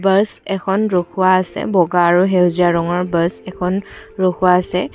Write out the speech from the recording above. Bus এখন ৰখোৱা আছে বগা আৰু সেউজীয়া ৰঙৰ বাছ এখন ৰখোৱা আছে।